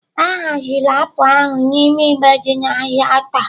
A haziri apụl ahụ n'ime igbe dị n'ahịa taa.